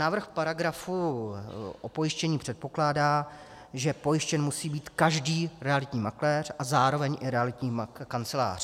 Návrh paragrafu o pojištění předpokládá, že pojištěn musí být každý realitní makléř a zároveň i realitní kancelář.